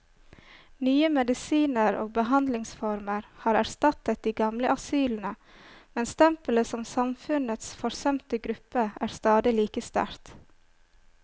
Nye medisiner og behandlingsformer har erstattet de gamle asylene, men stempelet som samfunnets forsømte gruppe er stadig like sterkt.